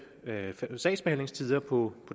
sagsbehandlingstider på